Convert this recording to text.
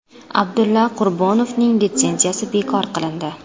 Abdulla Qurbonovning litsenziyasi bekor qilindi.